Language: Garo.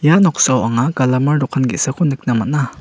ia noksao anga galamar dokan ge·sako nikna man·a.